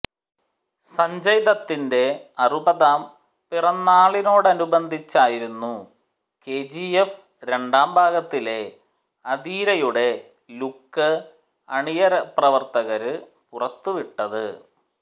സഞ്ജയ് ദത്തിന്റെ അറുപതാം പിറന്നാളിനോടനുബന്ധിച്ചായിരുന്നു കെജിഎഫ് രണ്ടാം ഭാഗത്തിലെ അധീരയുടെ ലുക്ക് അണിയറപ്രവര്ത്തകര് പുറത്തുവിട്ടത്